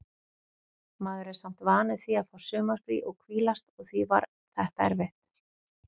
Maður er samt vanur því að fá sumarfrí og hvílast og því var þetta erfitt.